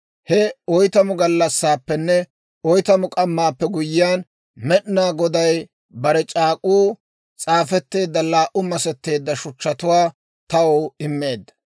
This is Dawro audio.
He oytamu gallassaappenne oytamu k'ammaappe guyyiyaan, Med'inaa Goday bare c'aak'k'uu s'aafetteedda laa"u masetteedda shuchchatuwaa taw immeedda.